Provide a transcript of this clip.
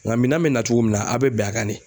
Ŋa minan bɛ na cogo min na a' be bɛn a kan de.